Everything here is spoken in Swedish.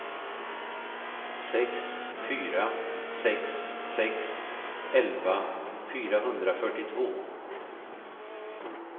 sex fyra sex sex elva fyrahundrafyrtiotvå